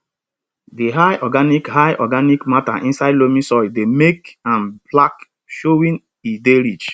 di high organic high organic matter inside loamy soil dey make am black showing e dey rich